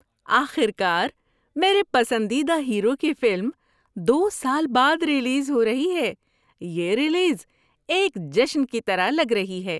آخر کار میرے پسندیدہ ہیرو کی فلم دو سال بعد ریلیز ہو رہی ہے، یہ ریلیز ایک جشن کی طرح لگ رہی ہے۔